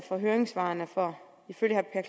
for høringssvarene for ifølge herre